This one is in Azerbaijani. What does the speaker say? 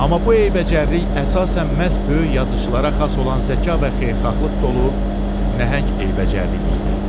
Amma bu eybəcərlik əsasən məhz böyük yazıçılara xas olan zəka və xeyirxahlıq dolu nəhəng eybəcərliyi idi.